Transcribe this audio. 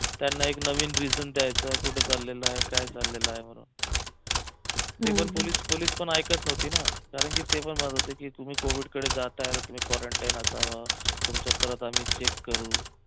त्यांना एक नवीन reason द्यायचं कुठं चाललेला आहे काय चाललेला आहे म्हणून नाही पण पोलीस पण ऐकत नव्हते ना कारंकी ते पण म्हणत होते की तुम्ही covid कडे जाताय तर तुम्ही quarantine असावा तुमचं परत आम्ही check करू